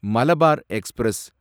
Malabar express